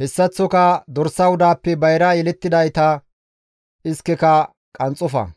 hessaththoka dorsa wudaappe bayra yelettidayta iskeka qanxxofa.